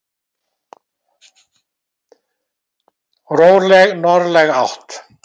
Róleg norðlæg átt